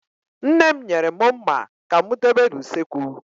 Nne m nyere mụ mma ka mụ dobe n'usekwu